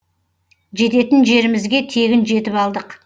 жететін жерімізге тегін жетіп алдық